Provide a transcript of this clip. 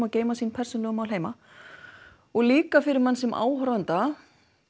og geyma sín persónulegu mál heima og líka fyrir mann sem áhorfanda